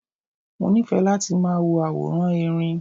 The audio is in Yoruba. Mo nífẹ̀ẹ́ láti máa wo àwòrán Erin.